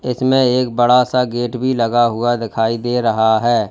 इसमें एक बड़ा सा गेट भी लगा हुआ दिखाई दे रहा है।